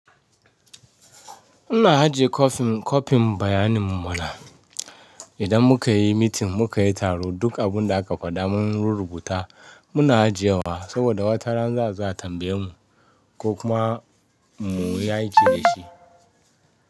Muna ajiye kwafin, kwafin bayaninmu mana. Idan mukayi meeting, mukayi taro duk abunda aka faɗa mun rurrubuta muna ajiyewa saboda watarana za'azo a tambaye mu ko kuma mu yi aiki da shi.